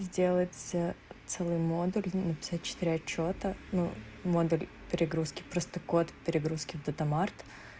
сделать целый модуль написать четыре отчёта ну модуль перегрузки просто код перегрузки в дата март